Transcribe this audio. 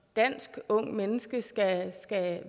dansk ungt menneske og